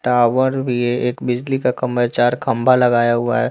Tower ये एक बिजली का खंभा है चार खंभा लगाया हुआ है।